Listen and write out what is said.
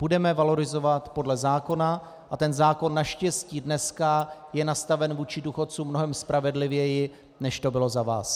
Budeme valorizovat podle zákona a ten zákon naštěstí dneska je nastaven vůči důchodcům mnohem spravedlivěji, než to bylo za vás.